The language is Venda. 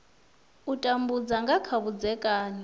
u tambudza nga kha vhudzekani